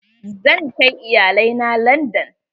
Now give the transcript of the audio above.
Zan kai iyalai na landan.